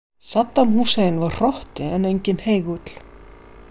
Saddam Hussein var hrotti en enginn heigull.